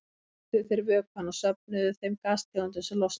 Þá hituðu þeir vökvann og söfnuðu þeim gastegundum sem losnuðu.